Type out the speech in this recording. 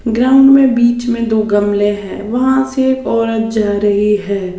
Ground में बीच में दो गमले हैं वहां से एक औरत जा रही है।